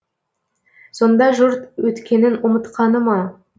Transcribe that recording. сонда жұрт өткенін ұмытқаны ма